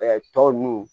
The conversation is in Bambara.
tɔ nunnu